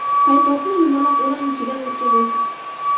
Paypoqni yumaloq o‘ram ichidan o‘tkazasiz.